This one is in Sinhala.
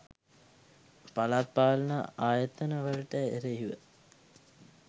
පළාත් පාලන ආයතන වලට එරෙහිව